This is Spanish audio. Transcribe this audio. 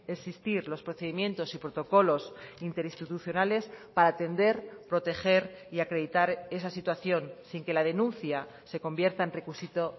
existir los procedimientos y protocolos interinstitucionales para atender proteger y acreditar esa situación sin que la denuncia se convierta en requisito